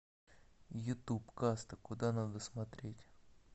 ютуб каста куда надо смотреть